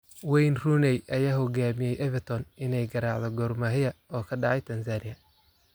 Wayne Rooney ayaa ku hogaamiyay Everton inay garaacdo Gor Mahia oo ka dhacay Tanzania